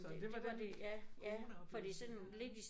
Så det var den coronaoplevelse jeg havde